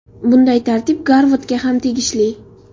Bunday tartib Garvardga ham tegishli.